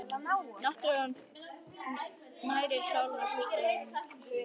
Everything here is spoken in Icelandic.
Náttúran nærir sálina Haustið er milt og hlýtt.